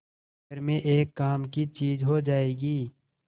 घर में एक काम की चीज हो जाएगी